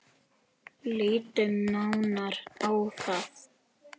Lítum nánar á það.